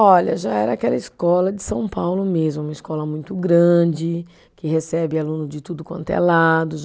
Olha, já era aquela escola de São Paulo mesmo, uma escola muito grande, que recebe aluno de tudo quanto é lado.